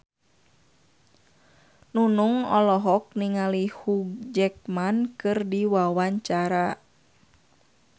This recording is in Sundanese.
Nunung olohok ningali Hugh Jackman keur diwawancara